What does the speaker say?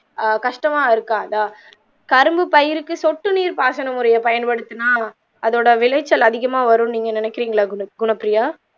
ஆஹ் கஷ்டமா இருக்காதா கரும்பு பயிருக்கு சொட்டு நீர் பாசன முறையை பயன்படுத்தினா அதோட விளைச்சல் அதிகமாக வரும்னு நீங்க நினைக்கிறீங்களா குண குணப்ப்ரியா